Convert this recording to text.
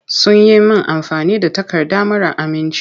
Sun yi min amfani da takarda mara aminci.